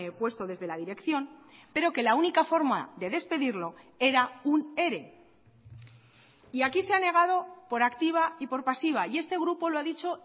puesto desde la dirección pero que la única forma de despedirlo era un ere y aquí se ha negado por activa y por pasiva y este grupo lo ha dicho